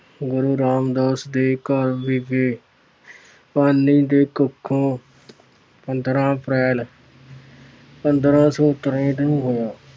ਗੁਰੂ ਰਾਮਦਾਸ ਦੇ ਘਰ ਵਿਖੇ ਮਾਤਾ ਭਾਨੀ ਦੀ ਕੁਖੋਂ ਪੰਦਰਾਂ April ਪੰਦਰਾ ਸੌ ਤਰੇਹਠ ਨੂੰ ਹੋਇਆ।